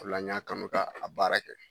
O la n y'a kanu k'a a baara kɛ.